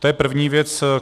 To je první věc.